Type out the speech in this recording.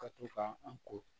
Ka to ka an ko